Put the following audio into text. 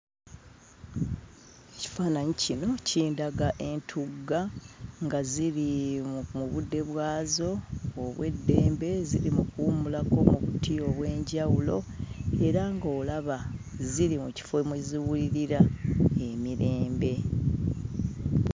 Ekifaananyi kino kindaga entugga nga ziri mu budde bwazo obw'eddembe ziri mu kuwummulako mu buti obw'enjawulo era ng'olaba nti ziri mu kifo mwe ziwulira emirembe.